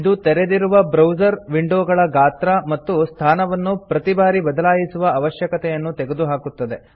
ಇದು ತೆರೆದಿರುವ ಬ್ರೌಸರ್ ವಿಂಡೊಗಳ ಗಾತ್ರ ಮತ್ತು ಸ್ಥಾನವನ್ನು ಪ್ರತಿ ಬಾರಿ ಬದಲಾಯಿಸುವ ಅವಶ್ಯಕತೆಯನ್ನು ತೆಗೆದುಹಾಕುತ್ತದೆ